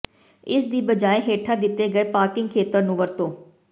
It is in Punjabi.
ਇਸ ਦੀ ਬਜਾਏ ਹੇਠਾਂ ਦਿੱਤੇ ਗਏ ਪਾਰਕਿੰਗ ਖੇਤਰ ਨੂੰ ਵਰਤੋ